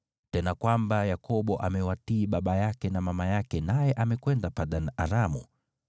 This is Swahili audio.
tena kwamba Yakobo amewatii baba yake na mama yake naye amekwenda Padan-Aramu.